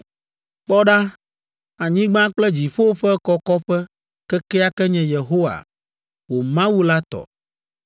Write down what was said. Kpɔ ɖa, anyigba kple dziƒo ƒe kɔkɔƒe kekeake nye Yehowa, wò Mawu la tɔ.